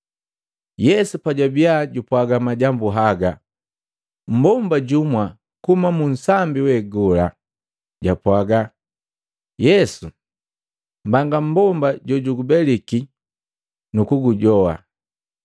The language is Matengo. Yesu pajwabia jupwaga majambu haga, mmbomba jumwa kuhumaa munsambi we gola japwaga Yesu, “Mbanga mmbomba jojugubeliki nukukujoha!”